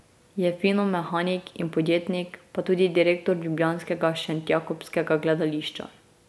Je finomehanik in podjetnik, pa tudi direktor ljubljanskega Šentjakobskega gledališča.